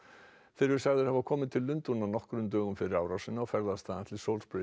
þeir eru sagðir hafa komið til Lundúna nokkrum dögum fyrir árásina og ferðast þaðan til